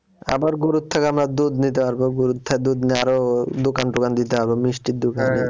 আবার গরুর থেকে আমরা দুধ নিতে পারবো গরুর থেকে দুধ নেওয়ারও দোকান টোকান দিতে হবে মিষ্টির দোকান।